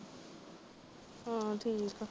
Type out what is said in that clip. ਹਾਂ ਠੀਕ ਏ।